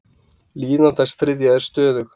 Líðan þess þriðja er stöðug.